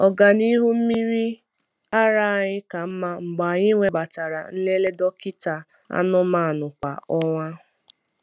Ọganihu mmiri ara anyị ka mma mgbe anyị webatara nlele dọkịta anụmanụ kwa ọnwa.